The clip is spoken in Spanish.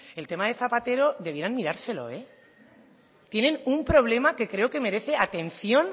el tema de zapatero debieran mirárselo tienen un problema que creo que merece atención